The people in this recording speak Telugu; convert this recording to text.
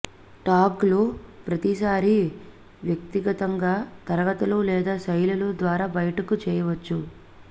టాగ్లు ప్రతిసారీ వ్యక్తిగతంగా తరగతులు లేదా శైలులు ద్వారా బయటకు చేయవచ్చు